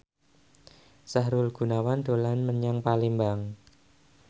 Sahrul Gunawan dolan menyang Palembang